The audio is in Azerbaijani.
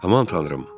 Aman tanrım.